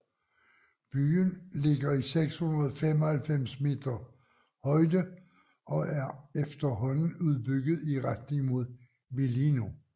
Byen ligger i 695 meter højde og er efterhånden udbygget i retning mod Velino